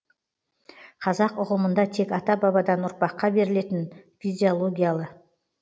қазақ ұғымында тек ата бабадан ұрпаққа берілетін физиологиялы